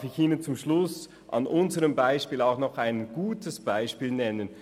Darf ich Ihnen zum Schluss an unserem Beispiel ein gutes nennen?